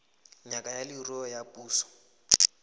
ngaka ya leruo ya puso